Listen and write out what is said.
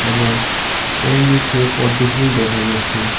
এবং এর নীচে পদ্মফুল দেখা যাচ্ছে।